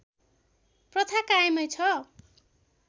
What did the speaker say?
प्रथा कायमै छ